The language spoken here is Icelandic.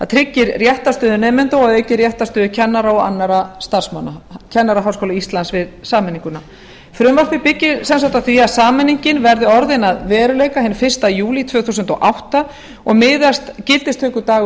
tryggir réttarstöðu nemenda og að auki réttarstöðu kennara og annarra starfsmanna kennaraháskóla íslands við sameininguna frumvarpið byggir sem sagt á því að sameiningin verði orðin að veruleika hinn fyrsta júlí tvö þúsund og átta og miðast gildistökudagur